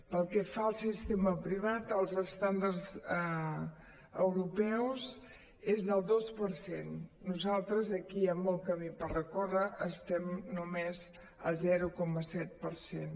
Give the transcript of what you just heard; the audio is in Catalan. pel que fa al sistema privat els estàndards europeus són del dos per cent nosaltres aquí hi ha molt camí per recórrer estem només al zero coma set per cent